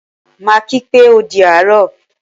Maa kii pé o di àárọ̀